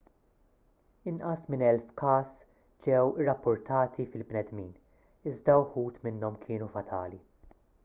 inqas minn elf każ ġew irrappurtati fil-bnedmin iżda wħud minnhom kienu fatali